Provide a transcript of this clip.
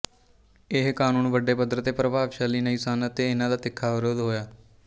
ਇਹ ਕਾਨੂੰਨ ਵੱਡੇ ਪੱਧਰ ਤੇ ਪ੍ਰਭਾਵਸ਼ਾਲੀ ਨਹੀਂ ਸਨ ਅਤੇ ਇਹਨਾਂ ਦਾ ਤਿੱਖਾ ਵਿਰੋਧ ਹੋਇਆ